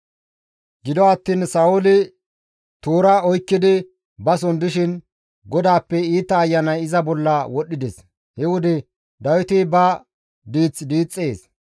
Gido attiin Sa7ooli toora oykkidi bason dishin GODAAPPE iita ayanay iza bolla wodhides; he wode Dawiti ba diith diixxees;